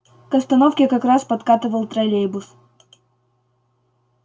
к остановке как раз подкатывал троллейбус